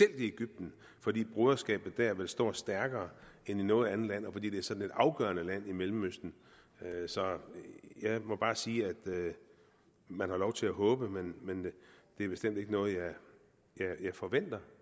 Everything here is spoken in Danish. i egypten fordi broderskabet dér vil stå stærkere end i noget andet land og fordi det er sådan et afgørende land i mellemøsten så jeg må bare sige at man har lov til at håbe men det er bestemt ikke noget jeg forventer